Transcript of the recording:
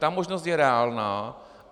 Ta možnost je reálná.